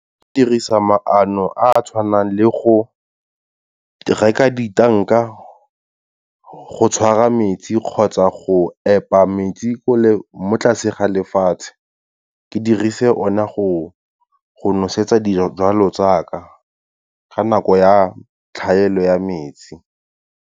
Ke dirisa maano a a tshwanang le go, reka di-tank-a go tshwara metsi kgotsa go epa metsi ko le, mo tlase ga lefatshe, ke dirise one go nosetsa dijalo tsaka, ka nako ya tlhaelo ya metsi.